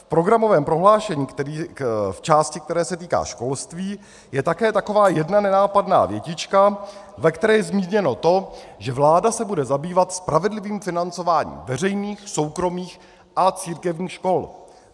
V programovém prohlášení, v části, která se týká školství, je také taková jedna nenápadná větička, ve které je zmíněno to, že vláda se bude zabývat spravedlivým financováním veřejných, soukromých a církevních škol.